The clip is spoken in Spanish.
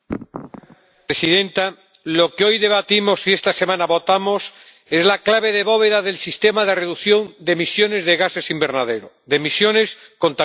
Señora presidenta, lo que hoy debatimos y esta semana votamos es la clave de bóveda del sistema de reducción de emisiones de gases de efecto invernadero, de emisiones contaminantes.